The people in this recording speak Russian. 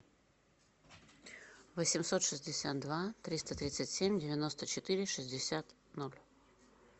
восемьсот шестьдесят два триста тридцать семь девяносто четыре шестьдесят ноль